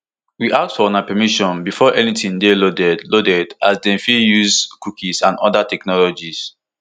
we ask for una permission before anytin dey loaded loaded as dem fit dey use cookies and oda technologies